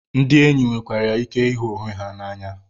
Ndị enyi nwekwara ike ịhụ onwe ha n'anya.